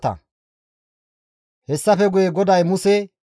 Hessafe guye GODAY Muse,